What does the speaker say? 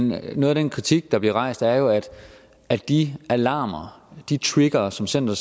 men noget af den kritik der bliver rejst er jo at de alarmer og de triggere som center